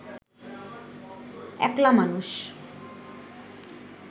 একলা মানুষ